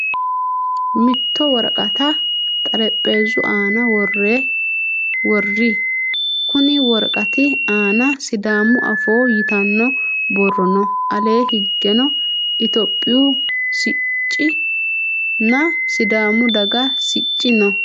Mitto woraqata xarapheezu aana worroyi. Kunni woraqati aana sidaamu afoo yitanno borro no. Alee higeno itiyophiyu sicci nna sidaamu daga sicci no.